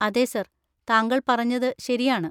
അതെ സർ, താങ്കൾ പറഞ്ഞത് ശരിയാണ്.